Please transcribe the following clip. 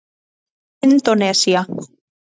Indónesía